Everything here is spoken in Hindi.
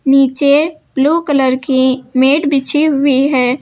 नीचे ब्लू कलर की मैट हुई है।